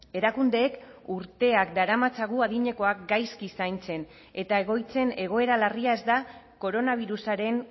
erakundeek urteak daramatzagu adinekoak gaizki zaintzen eta egoitzen egoera larria ez da koronabirusaren